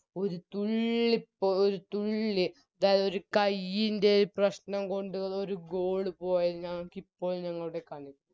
ഒര് തുള്ളിപ്പോ ഒര് തുള്ളി ആ ഒരു കൈയിൻറെ പ്രശ്നം കൊണ്ട് ഒര് Goal പോയത് ഞങ്ങക്കിപ്പോഴും ഞങ്ങളുടെ ക